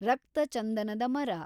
ರಕ್ತ ಚಂದನದ ಮರ